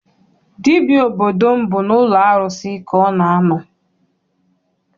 Dibịa obodo m bụ n'ụlọ arụsị ka ọ na a nọ.